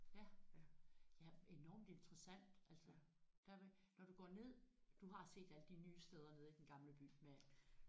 Ja ja enormt interessant altså der ved når du går ned du har set alle de nye steder nede i Den Gamle By med